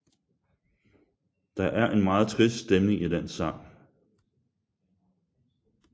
Der er en meget trist stemning i den sang